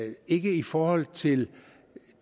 det ikke i forhold til